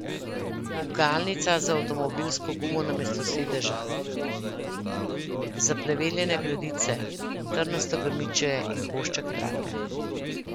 Gugalnica z avtomobilsko gumo namesto sedeža, zapleveljene gredice, trnasto grmičje in košček trate.